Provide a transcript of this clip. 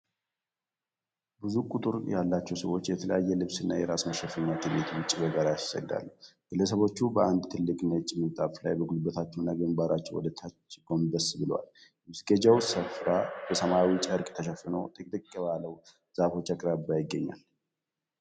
ብዙ ቁጥር ያላቸው ሰዎች በተለያየ ልብስና የራስ መሸፈኛ ከቤት ውጭ በጋራ ይሰግዳሉ። ግለሰቦቹ በአንድ ትልቅ ነጭ ምንጣፍ ላይ በጉልበታቸውና ግንባራቸው ወደታች ጎንበስ ብለዋል። የመስገጃው ስፍራ በሰማያዊ ጨርቅ ተሸፍኖ፣ ጥቅጥቅ ባሉ ዛፎች አቅራቢያ ይገኛል።